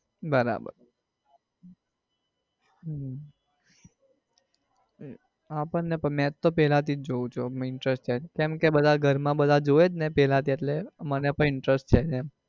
બરાબર હમ આપડને મેચ તો પેલા થી જોવું interest છે કેમ કે ઘર માં બધા ઘર માં જોવે ને પેલા થી એટલે મને પણ interest છે એમ.